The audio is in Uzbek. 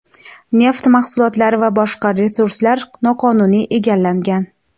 neft mahsulotlari va boshqa resurslar noqonuniy egallangan.